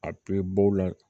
A bɛɛ bɔ la